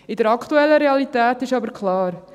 In der aktuellen Realität ist aber klar: